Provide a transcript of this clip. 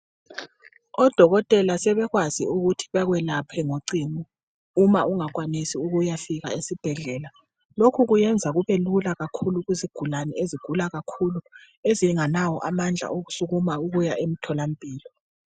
Odokotela sebekwazi ukuthi bakwelapha ngocingo uma ungakwanisi ukuyafika esibhedlela lokhu kuyenza kube lula kakhulu kuzigulane ezigula kakhulu ezinganawo amandla okusukuma ukuya emtholampilo.